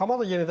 Bəli, bəli.